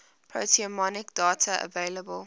proteomic data available